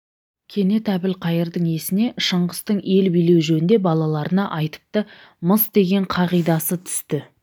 кенет әбілқайырдың есіне шыңғыстың ел билеу жөнінде балаларына айтыпты-мыс деген қағидасы түсті